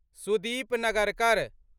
Sudip Nagarkar